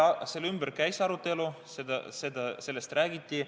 Selle ümber käis arutelu, sellest räägiti.